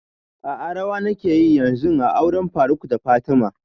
A'a rawa nake yi yanzun a auren faruk da fatima